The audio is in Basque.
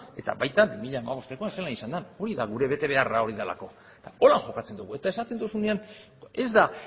eta baita bi mila hamabosta zelan izan den hori da gure betebeharra hori delako horrela jokatzen dugu eta esaten duzunean ez da